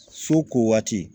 So ko waati